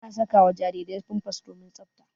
Ana saka wa jarirai pampas domin tsaɓta.